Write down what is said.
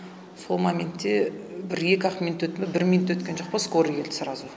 сол моментте бір екі ақ минут өтті ме бір минут өткен жоқ па скорый келді сразу